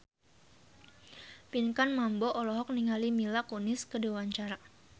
Pinkan Mambo olohok ningali Mila Kunis keur diwawancara